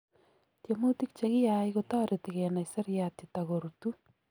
tiemutik chegia kotareti kenai seriat yatagorutu